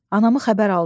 Anamı xəbər aldı.